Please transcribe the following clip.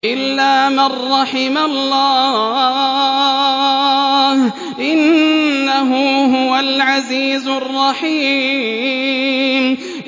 إِلَّا مَن رَّحِمَ اللَّهُ ۚ إِنَّهُ هُوَ الْعَزِيزُ الرَّحِيمُ